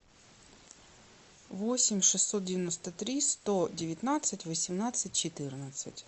восемь шестьсот девяносто три сто девятнадцать восемнадцать четырнадцать